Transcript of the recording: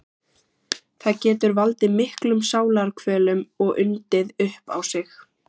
Það getur valdið miklum sálarkvölum og undið upp á sig.